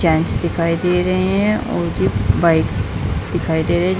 gents दिखाइ दे रहे हैं और जे बाइक दिखाई दे रही --